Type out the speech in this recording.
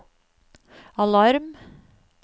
alarm